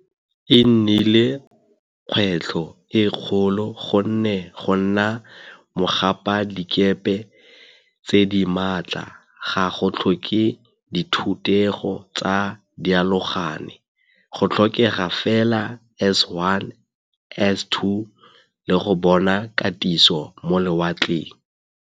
E nnile kgwetlho e kgolo gonne go nna mogapadikepe tse di maatla ga go tlhoke dithutego tsa dialogane, go tlhokega fela S1, S2 le go bona katiso mo lewatleng.